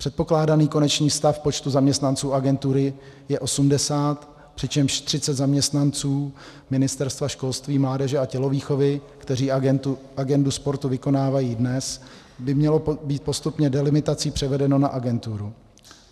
Předpokládaný konečný stav počtu zaměstnanců agentury je 80, přičemž 30 zaměstnanců Ministerstva školství, mládeže a tělovýchovy, kteří agendu sportu vykonávají dnes, by mělo být postupně delimitací převedeno na agenturu.